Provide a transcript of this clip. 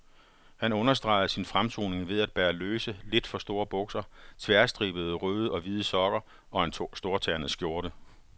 Han understregede sin fremtoning ved at bære løse, lidt for store bukser, tværstribede røde og hvide sokker og en storternet skjorte.